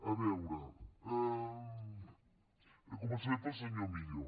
a veure començaré pel senyor millo